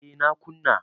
A na kuna